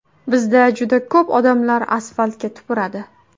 Bizda juda ko‘p odamlar asfaltga tupuradi.